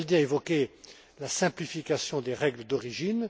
Rinaldi a évoqué la simplification des règles d'origine.